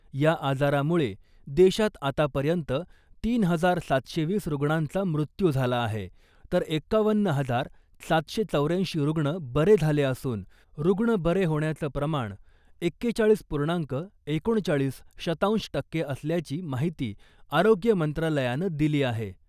या आजारामुळे देशात आतापर्यंत तीन हजार सातशे वीस रुग्णांचा मृत्यू झाला आहे , तर एक्कावन्न हजार सातशे चौर्याऐंशी रुग्ण बरे झाले असून , रुग्ण बरे होण्याचं प्रमाण एक्केचाळीस पूर्णांक एकोणचाळीस शतांश टक्के असल्याची माहिती आरोग्य मंत्रालयानं दिली आहे .